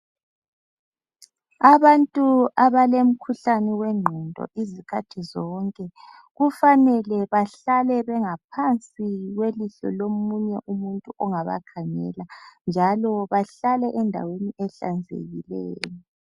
Abantu abalomkhuhlane wengqondo izikhathi zonke kufanele bahlale bengaphansi kwelihlo lomunye umuntu ongabakhangela, njalo bahlale endaweni ehlanzekileyo.